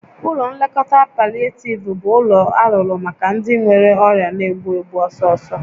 Ụlọ nlekọta palịetiiv bụ ụlọ alụrụ maka ndị nwere ọrịa na-egbu egbu ọsọsọ